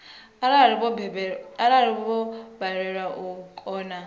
arali vho balelwa vha kona